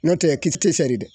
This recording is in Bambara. No tɛ ye kisɛ tɛ sɛri dɛ